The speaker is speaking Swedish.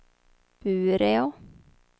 Bureå